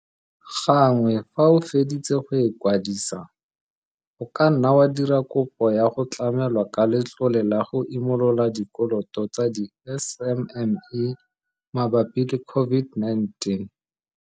Gangwe fa o feditse go e kwadisa, o ka nna wa dira kopo ya go tlamelwa ka Letlole la go Imolola Dikoloto tsa di-SMME mabapi le COV-ID-19.